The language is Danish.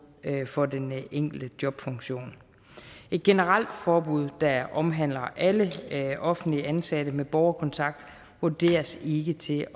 for den enkelte jobfunktion et generelt forbud der omhandler alle offentligt ansatte med borgerkontakt vurderes ikke til